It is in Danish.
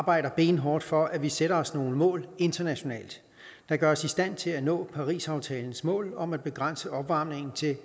arbejder benhårdt for at vi sætter os nogle mål internationalt der gør os i stand til at nå parisaftalens mål om at begrænse opvarmningen til